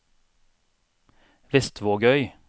Vestvågøy